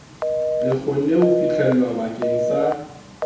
le kgonwe ho fihlelwabakeng sa